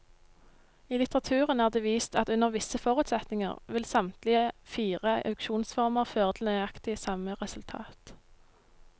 I litteraturen er det vist at under visse forutsetninger vil samtlige fire auksjonsformer føre til nøyaktig samme resultat.